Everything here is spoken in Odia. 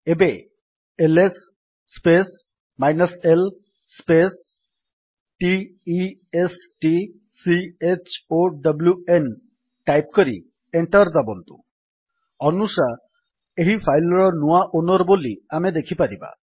ଏବେ ls space l space t e s t c h o w n type କରି ଏଣ୍ଟର୍ ଦାବନ୍ତୁ ଅନୁଶା ଏହି ଫାଇଲ୍ ର ନୂଆ ଓନର୍ ବୋଲି ଆମେ ଦେଖିପାରିବା